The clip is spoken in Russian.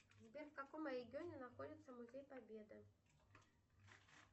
сбер в каком регионе находится музей победы